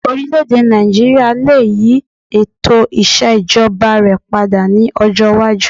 Orílẹ̀-èdè Nàìjííríà lè yí ètò ìṣèjọba rẹ̀ padà ní ọjọ́ iwájú